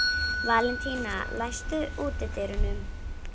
Valentína, læstu útidyrunum.